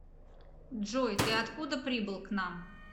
джой ты откуда прибыл к нам